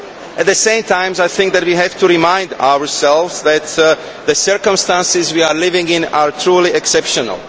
At the same time, I think we have to remind ourselves that the circumstances we are living in are truly exceptional.